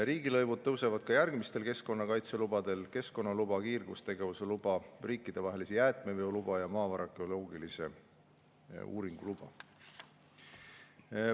Riigilõivud tõusevad ka järgmistel keskkonnakaitselubadel: keskkonnaluba, kiirgustegevuse luba, riikidevahelise jäätmeveo luba ja maavara geoloogilise uuringu luba.